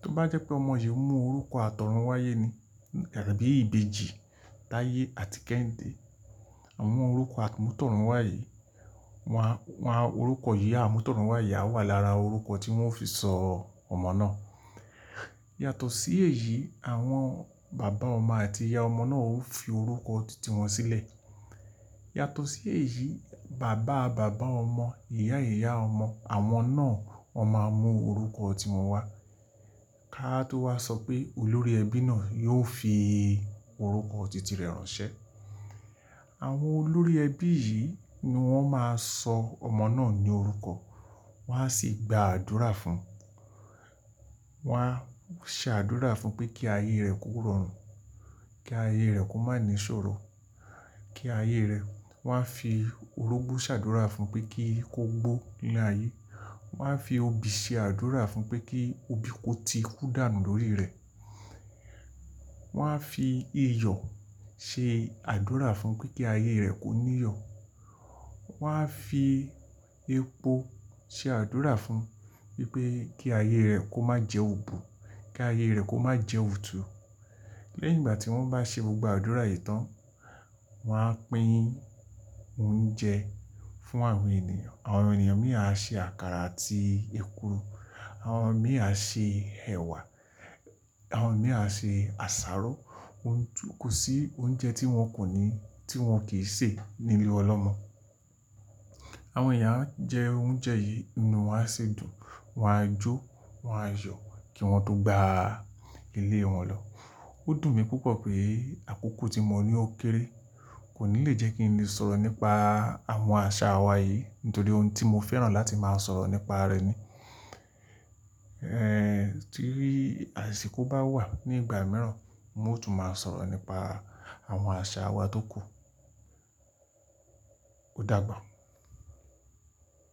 tó bá jẹ́ pé ọmọ yìí mú orúkọ àtọ̀run wáyé ni, àbí ìbejì, Taye àti Kehinde. Àwọn orúkọ àmútọ̀run wá yìí, wọ́n á, wọ́n orúkọ yìí àmútọ̀run wá yìí á wà lára orúkọ tí wọ́n ó fi sọ ọmọ náà. Yàtọ̀ sí èyí, àwọn bàbá ọmọ àti ìyá ọmọ náà ó fi orúkọ titi wọn sílẹ̀. Yàtọ̀ sí èyí, bàbá bàbá ọmọ, ìyá ìyá ọmọ àwọn náà, wọ́n máa mú orúkọ tí wọn wá. Ká tó wá sọ pé olórí ẹbí náà yóò fi orúkọ titi rẹ̀ ránṣẹ́. Àwọn olórí ẹbí yìí ni wọ́n máa sọ ọmọ náà ní orúkọ, wọ́n á sì gba àdúrà fún. Wọn á ṣe àdúrà fún pé kí ayé rẹ̀ kó rọrùn, kí ayé rẹ̀ kó má ní ṣòro, kí ayé rẹ̀ wọ́n á fi orógbó ṣàdúrà fún un pé kí ó gbó nílé ayé. Wọn á fi obì ṣe àdúrà fún un pé kí obì kó ti kú dànù lórí rẹ̀. Wọn á fi iyọ̀ ṣe àdúrà fún un pé kí ayé rẹ̀ kó ní iyọ̀. Wọn á fi epo ṣe àdúrà fún un wípé kí ayé rẹ̀ kó má jẹ òbù, kí ayé rẹ̀ kó má jẹ òtù. Lẹ́yìn ìgbà tí wọ́n bá ṣe gbogbo àdúrà yìí tán, wọ́n á pín oúnjẹ fún àwọn ènìyàn. Àwọn ènìyàn mìíràn á ṣe àkàrà àti èkuru, àwọn mìíràn á ṣe ẹ̀wà, àwọn mìíràn á ṣe àsáró. Ó ń túkú sí oúnjẹ tí wọn kò ní, tí wọn kì í sè nílé ọlọ́mọ. Àwọn ééyan á jẹ oúnjẹ yìí, ni wọ́n á ṣe dùn, wọ́n á jó, wọ́n á yọ̀ kí wọn tó gba ilé wọn lọ. Ó dùn mí púpọ̀ pé àkókò tí mo ní ó kéré kò ní lè jẹ́ kí n lè sọ̀rọ̀ nípa àwọn àṣà wa yìí nítorí ohun tí mo fẹ́ràn láti máa sọ̀rọ̀ nípa rẹ̀ ni. Ẹ̀ ń, tí asìko bá wà nígbà mìíràn, mo tún máa sọ̀rọ̀ nípa àwọn àṣà wa tó kù. Ó dàbò.